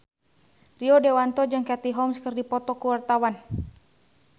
Rio Dewanto jeung Katie Holmes keur dipoto ku wartawan